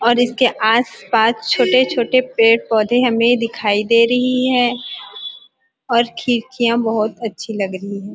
और इसके आस-पास छोटे-छोटे पेड़-पौधे हमे दिखाई दे रही है और खिड़कियाँ बहुत अच्छी लग रही है।